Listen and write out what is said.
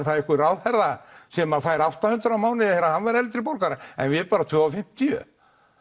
það einhver ráðherra sem fær átta hundruð á mánuði þegar hann verður eldri borgari en við bara tvö og fimmtíu